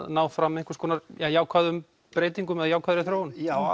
ná fram einhvers konar jákvæðum breytingum eða jákvæðri þróun já